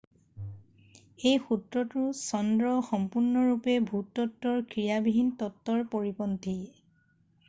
এই সূত্ৰটো চন্দ্ৰ সম্পূৰ্ণৰূপে ভূতত্বৰ ক্ৰিয়াবিহীন তত্বৰ পৰিপন্থী